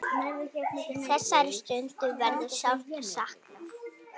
Þessara stunda verður sárt saknað.